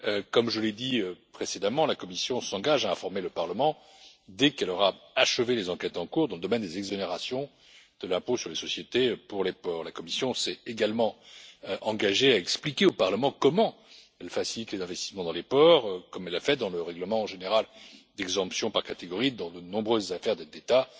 Comme je l'ai dit précédemment, la Commission s'engage à informer le Parlement dès qu'elle aura achevé les enquêtes en cours dans le domaine des exonérations de l'impôt sur les sociétés pour les ports. Elle s'est également engagée à expliquer au Parlement comment elle facilite les investissements dans les ports, comme elle l'a fait dans le règlement général d'exemption par catégorie dans de nombreuses affaires d'aides d'État.